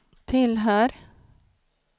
tillhör